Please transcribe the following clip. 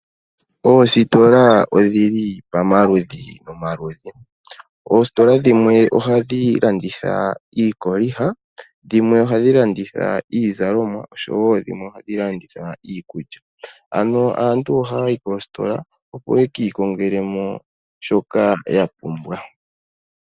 Oositola odhili pamaludhi nomaludhi. Oositola Dhimwe ohadhi landitha iikolitha, dhimwe ohadhi landitha oshowo iizalomwa niikunwa . Aantu ohaya yi koosikola opo yekiikongele shoka yapumbwa.